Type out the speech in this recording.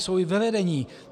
Jsou i ve vedení.